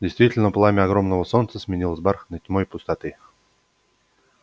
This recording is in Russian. действительно пламя огромного солнца сменилось бархатной тьмой пустоты